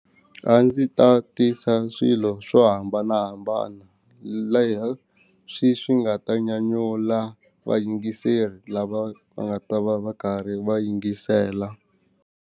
A ndzi ta tisa swilo swo hambanahambana leswi swi nga ta nyanyula vayingiseri lava va nga ta va va karhi va yingisela.